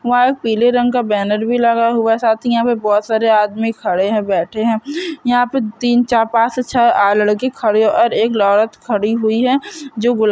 यहाँ पीले रंग का बैनर भी लगा हुआ है साथ ही यहाँ पे बहुत सारे आदमी खड़े है बैठे है यहाँ पे तीन चार पाँच से छह लड़के खड़े और एक औरत खड़ी हुई हैं जो गुला--